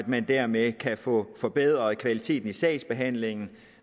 man dermed kan få forbedret kvaliteten i sagsbehandlingen